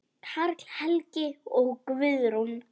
Karl Helgi og Guðrún.